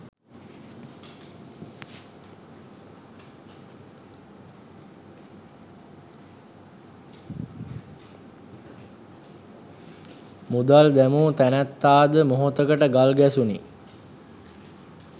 මුදල් දැමූ නැනැත්තා ද මොහොතකට ගල් ගැසුනි.